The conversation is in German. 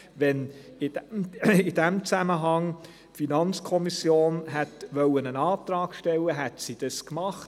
Wenn die FiKo in diesem Zusammenhang einen Antrag hätte stellen wollen, hätte sie das getan.